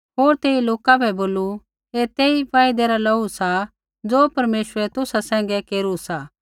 होर तेइयै लोका बै बोलू ऐ तेई वायदै रा लोहू सा ज़ो परमेश्वरै तुसा सैंघै केरू सा